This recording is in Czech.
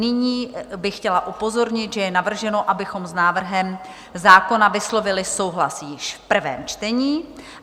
Nyní bych chtěla upozornit, že je navrženo, abychom s návrhem zákona vyslovili souhlas již v prvém čtení.